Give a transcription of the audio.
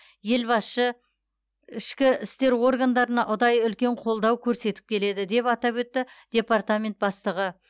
елбасшы ішкі істер органдарына ұдайы үлкен қолдау көрсетіп келеді деп атап өтті департамент бастығы